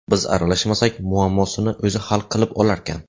Biz aralashmasak, muammosini o‘zi hal qilib olarkan.